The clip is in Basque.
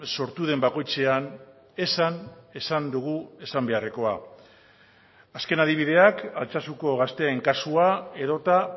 sortu den bakoitzean esan esan dugu esan beharrekoa azken adibideak altsasuko gazteen kasua edota